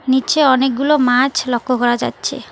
নিচে অনেকগুলো মাছ লক্ষ্য করা যাচ্ছে।